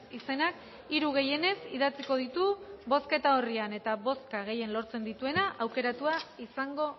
izenak hiru gehienez idatziko ditu bozketa orrian eta bozka gehien lortzen dituena aukeratua izango